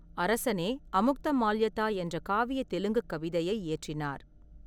அரசனே அமுக்தமால்யதா என்ற காவிய தெலுங்குக் கவிதையை இயற்றினார்.